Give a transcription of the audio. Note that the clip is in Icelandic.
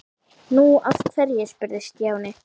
Nú, af hverju? spurði Stjáni.